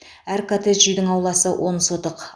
әр коттедж үйдің ауласы он сотық